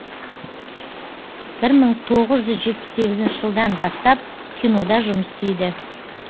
бір мың тоғыз жүз жетпіс сегізінші жылдан бастап кинода жұмыс істейді